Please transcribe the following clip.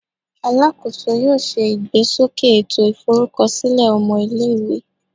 Alakoso yoo ṣe igbesoke eto iforukọsilẹ ọmọ ile-iwe